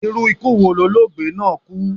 Irú ikú wo lologbe náà kú?